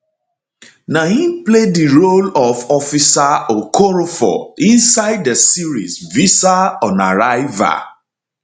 na im play di role ofofficer okorofor inside di series visa on arrival